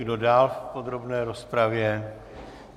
Kdo dál v podrobné rozpravě?